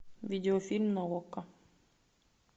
видеофильм на окко